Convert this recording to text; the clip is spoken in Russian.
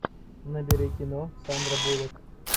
набери кино сандра буллок